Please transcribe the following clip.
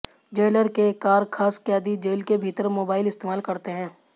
jailer के कारखास कैदी जेल के भीतर मोबाइल इस्तेमाल करते हैं